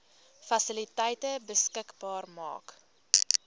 fasiliteite beskikbaar maak